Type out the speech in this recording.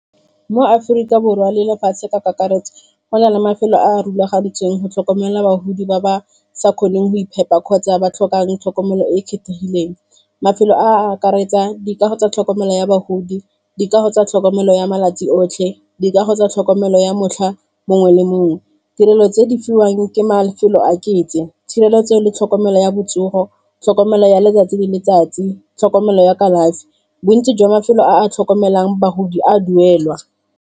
Mo Aforika Borwa le lefatshe ka kakaretso go na le mafelo a a rulagantsweng go tlhokomela bagodi ba ba sa kgoneng go iphepa kgotsa ba tlhokang tlhokomelo e e kgethegileng, mafelo a akaretsa dikao tsa tlhokomelo ya bagodi, dikago tsa tlhokomelo ya malatsi otlhe, dikago tsa tlhokomelo ya motlha mongwe le mongwe, tirelo tse di fiwang ke mafelo a ketse tshireletso le tlhokomelo ya botsogo tlhokomelo ya letsatsi le letsatsi tlhokomelo ya kalafi bontsi jwa mafelo a a tlhokomelang bagodi a duelwa.